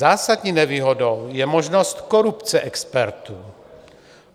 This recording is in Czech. Zásadní nevýhodou je možnost korupce expertů.